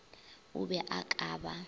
o be o ka ba